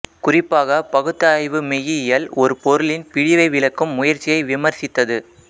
குறிப்பாகப் பகுத்தாய்வு மெய்யியல் ஒரு பொருளின் பிழிவை விளக்கும் முயற்சியை விமர்சித்தது